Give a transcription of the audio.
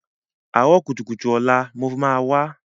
Àárọ̀ kùtùkùtù ọ̀la mo máa wá.